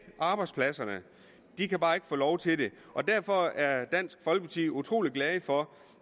arbejdspladser de kan bare ikke få lov til det derfor er dansk folkeparti utrolig glad for